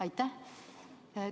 Aitäh!